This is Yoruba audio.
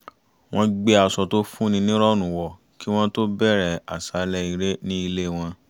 wọ́n gbé aṣọ to fún ni níìrọ̀rùn wọ̀ kí wọ́n tó bẹ̀rẹ̀ àṣàlẹ́ eré ní ilé wọn